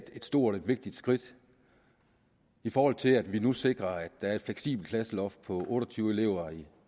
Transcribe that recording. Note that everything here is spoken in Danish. et stort og vigtigt skridt i forhold til at vi nu sikrer at der er et fleksibelt klasseloft på otte og tyve elever